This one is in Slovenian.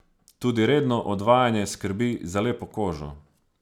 Tudi redno odvajanje skrbi za lepo kožo.